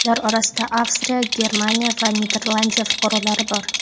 Ular orasida Avstriya, Germaniya va Niderlandiya fuqarolari bor.